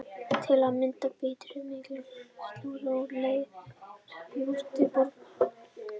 Til að mynda prýddu mikilfenglegar súlur úr leir musteri borgarinnar.